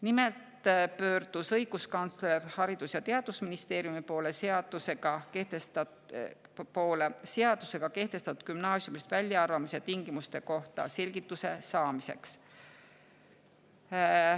Nimelt pöördus õiguskantsler Haridus‑ ja Teadusministeeriumi poole seadusega kehtestatud gümnaasiumist väljaarvamise tingimuste kohta selgituse saamiseks.